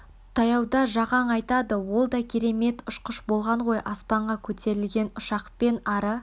таяуда сол жақаң айтады ол да керемет ұшқыш болған ғой аспанға көтерілген ұшақпен ары